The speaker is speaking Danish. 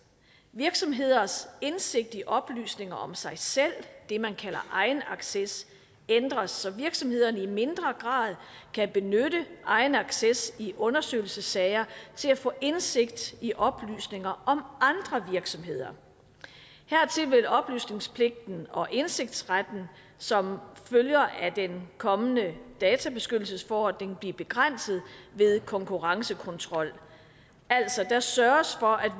virksomheders indsigt i oplysninger om sig selv det man kalder egenacces ændres så virksomhederne i mindre grad kan benytte egenacces i undersøgelsessager til at få indsigt i oplysninger om andre virksomheder hertil vil oplysningspligten og indsigtsretten som følger af den kommende databeskyttelsesforordning blive begrænset ved konkurrencekontrol altså der sørges for at